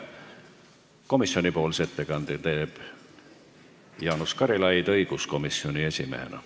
Komisjonipoolse ettekande teeb Jaanus Karilaid õiguskomisjoni esimehena.